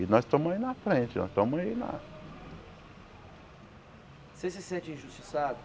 E nós estamos aí na frente, nós estamos aí na... Você se sente injustiçado?